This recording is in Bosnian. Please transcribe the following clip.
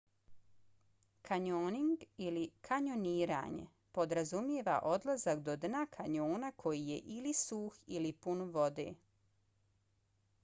kanjoning ili: kanjoniranje podrazumijeva odlazak do dna kanjona koji je ili suh ili pun vode